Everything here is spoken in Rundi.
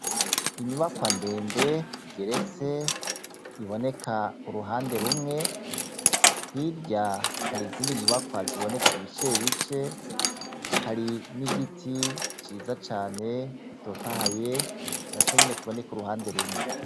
Inyubakwa ndende igeretse, iboneka uruhande rumwe. Hirya har'izindi nyubakwa ziboneka ibice bice, hari n'igiti ciza cane gitotahaye ,naco nyene kiboneka uruhande rumwe.